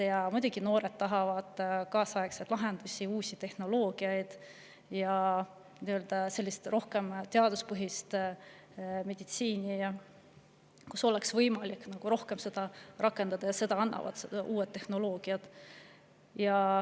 Ja muidugi noored tahavad kaasaegseid lahendusi, uusi tehnoloogiaid ja rohkem teaduspõhist meditsiini,, kus oleks võimalik seda rohkem rakendada – selle annavad uued tehnoloogiad.